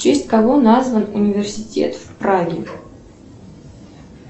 в честь кого назван университет в праге